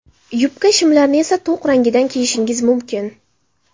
Yubka, shimlarni esa to‘q rangidan kiyishingiz mumkin.